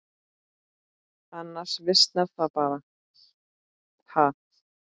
Annars visnar það bara, ha.